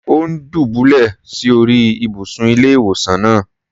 Ò́ ń dùbúlẹ̀ sí orí ìbùsùn ilé-ìwòsàn náà.